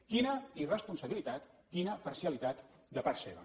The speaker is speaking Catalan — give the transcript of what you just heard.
quina irresponsabilitat quina parcialitat de part seva